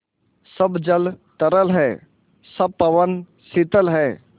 सब जल तरल है सब पवन शीतल है